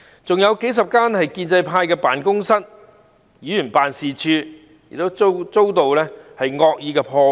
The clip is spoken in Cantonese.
此外，數十間屬於建制派的辦公室和議員辦事處也遭到惡意破壞。